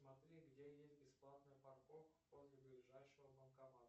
смотри где есть бесплатная парковка возле ближайшего банкомата